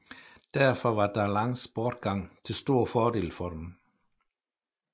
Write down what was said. Derfor var Darlans bortgang til stor fordel for dem